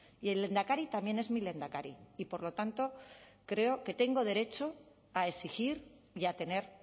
y el lehendakari también es mi lehendakari y por lo tanto creo que tengo derecho a exigir y a tener